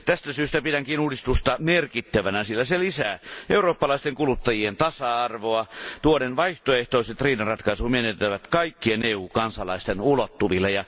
Tästä syystä pidänkin uudistusta merkittävänä, sillä se lisää eurooppalaisten kuluttajien tasa arvoa tuoden vaihtoehtoiset riidanratkaisumenetelmät kaikkien EU kansalaisten ulottuville.